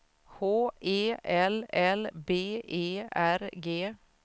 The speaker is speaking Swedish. H E L L B E R G